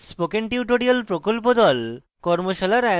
spoken tutorial প্রকল্প the কর্মশালার আয়োজন করে